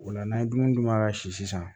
O la n'an ye dumuni d'u ma ka si sisan